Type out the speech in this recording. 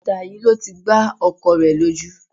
Ìta yìí ló ti gbá ọkọ rẹ lójú